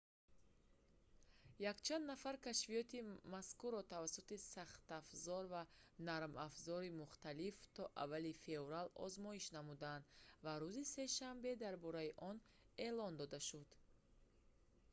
якчанд нафар кашфиёти мазкурро тавассути сахтафзор ва нармафзори мухталиф то аввали феврал озмоиш намуданд ва рӯзи сешанбе дар бораи он эълон дода шуд